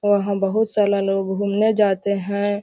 वहां बहुत सारा लोग घूमने जाते है।